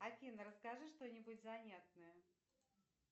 афина расскажи что нибудь занятное